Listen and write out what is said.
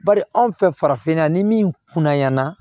Bari anw fɛ farafinna ni min kunnayana